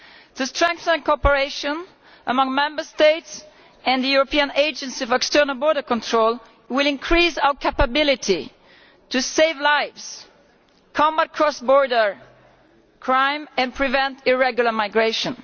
To strengthen cooperation among Member States and the European Agency for External Border Control will increase our capability to save lives, combat cross border crime and prevent irregular migration.